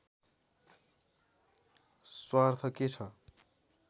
स्वार्थ के छ